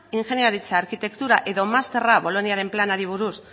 ingeniaritza arkitektura edo masterra boloniaren planari buruz